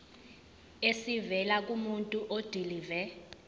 esivela kumuntu odilive